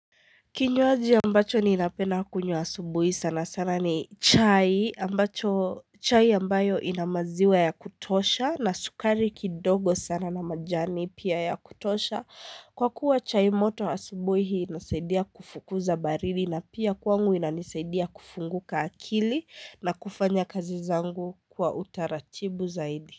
Kinyuaji ambacho ninapenda kunywa asubuhi sana sana ni chai ambacho chai ambayo ina maziwa ya kutosha na sukari kidogo sana na majani pia ya kutosha Kwa kuwa chai moto asubuhi inasaidia kufukuza baridi na pia kwangu inanisaidia kufunguka akili na kufanya kazi zangu kwa utaratibu zaidi.